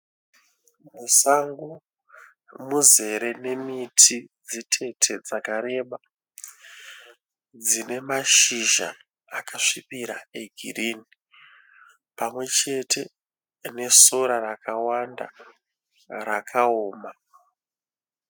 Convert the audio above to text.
Musango muzere nemiti dzitete dzakareba dzine mashizha akasvibira e girini. Pamwechete nesora rakawanda rakaoma.